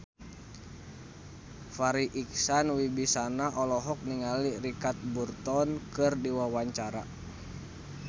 Farri Icksan Wibisana olohok ningali Richard Burton keur diwawancara